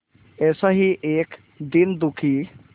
ऐसा ही एक दीन दुखी